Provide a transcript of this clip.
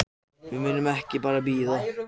Heiðarfjalli